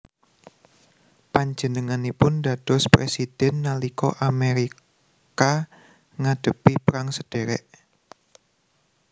Panjenenganipun dados présidhèn nalika Amérika ngadhepi perang sadhèrèk